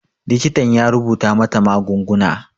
Likitan ya rubuta mata magunguna